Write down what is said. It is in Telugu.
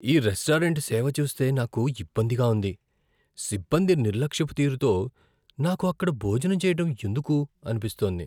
ఈ రెస్టారెంట్ సేవ చూస్తే నాకు ఇబ్బందిగా ఉంది, సిబ్బంది నిర్లక్ష్యపు తీరుతో నాకు అక్కడ భోజనం చేయటం ఎందుకు అనిపిస్తోంది.